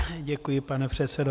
Děkuji, pane předsedo.